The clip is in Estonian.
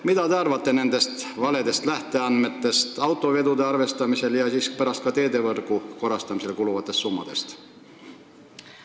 Mida te arvate nendest valedest lähteandmetest autovedude maksumuse arvestamisel ja ka teedevõrgu korrastamisele kuluvatest summadest?